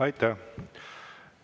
Aitäh!